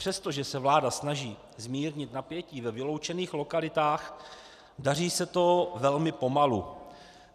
Přestože se vláda snaží zmírnit napětí ve vyloučených lokalitách, daří se to velmi pomalu.